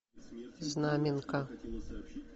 знаменка